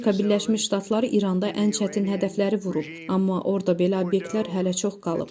Amerika Birləşmiş Ştatları İranda ən çətin hədəfləri vurub, amma orda belə obyektlər hələ çox qalıb.